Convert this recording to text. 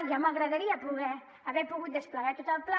ja m’agradaria poder haver pogut desplegar tot el pla